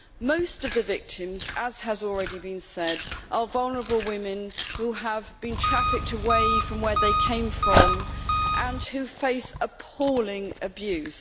Most of the victims, as has already been said, are vulnerable women who have been trafficked away from where they came from and who face appalling abuse.